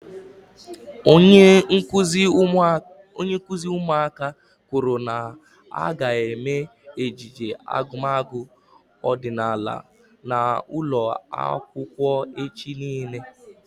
Onye nkụzi ụmụaka kwụrụ na ha ga eme ejije agumagu ọdịnala n'ụlọ akwụkwọ echi niile